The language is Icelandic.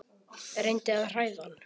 Reyndi að hræða hann.